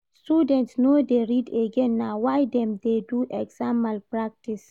Students no dey read again na why dem dey do exam malpractice.